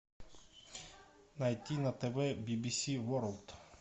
найти на тв би би си ворлд